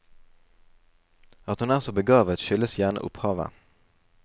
At hun er så begavet skyldes gjerne opphavet.